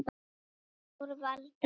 Ár var alda